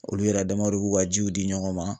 Olu yɛrɛ damaw de b'u ka jiw di ɲɔgɔn ma